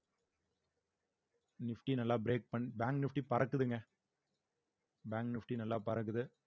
nifty நல்லா break பண்~ bank nifty பறக்குதுங்க bank nifty நல்லா பறக்குது